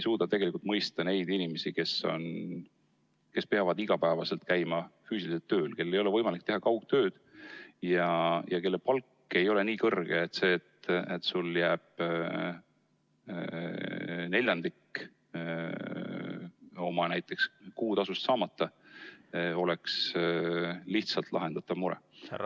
Tegelikult ei mõisteta neid inimesi, kes peavad iga päev tööl kohal käima, kellel ei ole võimalik teha kaugtööd ja kelle palk ei ole nii kõrge, et see, kui sul jääb näiteks neljandik oma kuutasust saamata, oleks väike mure.